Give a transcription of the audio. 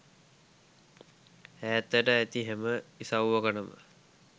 ඈතට ඇති හැම ඉසව්වකටම